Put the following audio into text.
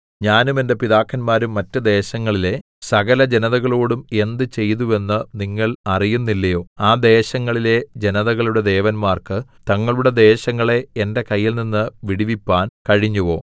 ഞാനും എന്റെ പിതാക്കന്മാരും മറ്റ് ദേശങ്ങളിലെ സകലജനതകളോടും എന്ത് ചെയ്തുവെന്ന് നിങ്ങൾ അറിയുന്നില്ലയോ ആ ദേശങ്ങളിലെ ജനതകളുടെ ദേവന്മാർക്ക് തങ്ങളുടെ ദേശങ്ങളെ എന്റെ കയ്യിൽനിന്ന് വിടുവിപ്പാൻ കഴിഞ്ഞുവോ